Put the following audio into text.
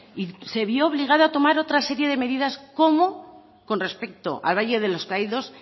y se vio obligado a tomar otra serie de medidas con respecto al valle de los caídos